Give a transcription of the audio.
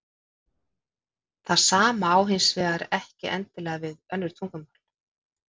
Það sama á hins vegar ekki endilega við um önnur tungumál.